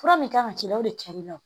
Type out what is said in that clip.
Fura min kan ka k'i la o de kɛl'i la